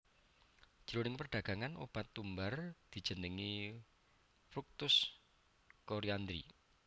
Jroning perdagangan obat tumbar dijenengi fructus coriandri